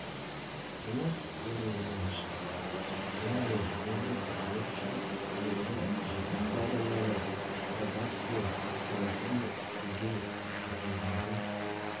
жұмыс орындарын ашты яғни жергілікті халық үшін тиімді шарбақты ауданының пробация қызметі де тіркеуде тұрғандарды